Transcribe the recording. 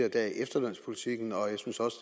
i dag efterlønspolitikken og jeg synes også